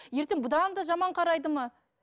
ертең бұдан да жаман қарайды ма